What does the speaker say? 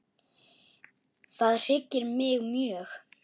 Það hryggir mig mjög.